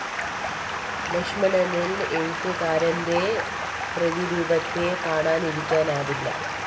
ലക്ഷ്മണനില്‍ എഴുത്തുകാരന്റെ പ്രതിരൂപത്തെ കാണാതിരിക്കാനാവില്ല